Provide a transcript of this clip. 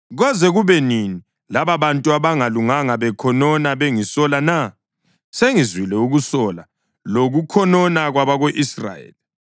“Koze kube nini lababantu abangalunganga bekhonona bengisola na? Sengizwile ukusola lokukhonona kwabako-Israyeli.